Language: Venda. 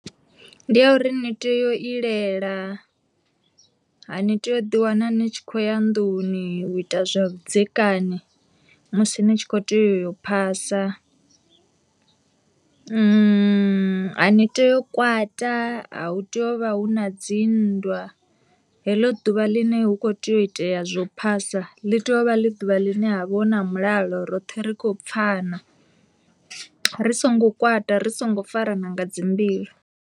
Ndi ya uri ni tea u ilela ha ni tea u ḓi wana ni tshi khou ya nnḓuni u ita zwa vhudzekani musi ni tshi kho teyo u yo phasa, a ni tei u kwata a hu tei u vha hu na dzi nndwa, heḽo ḓuvha ḽine hu kho tea u itea zwo phasa ḽi tea uvha ḽi ḓuvha ḽine ha vha hu na mulalo roṱhe ri kho pfhana ri songo kwata ri songo farana nga dzi mbilu.